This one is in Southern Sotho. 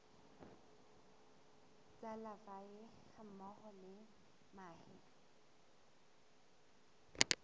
tsa larvae hammoho le mahe